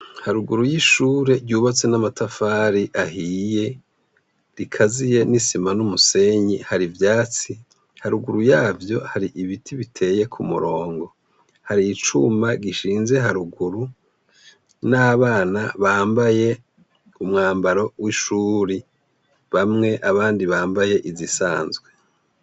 Haruguru y' ishure ryubatse n' amatafari ahiye rikaziye n' isima n' umusenyi hari ivyatsi haruguru yavyo hari ibiti biteye kumurongo hari icuma gishinze haruguru n' abana bambaye umwambaro w' ishure bamwe abandi bambaye izisanzwe.